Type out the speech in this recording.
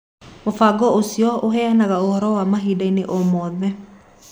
Mũbango ũcio ũheanaga ũhoro wa ma ihinda-inĩ o rĩothe.